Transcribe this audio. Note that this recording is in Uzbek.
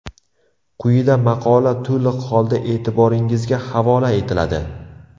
Quyida maqola to‘liq holda e’tiboringizga havola etiladi.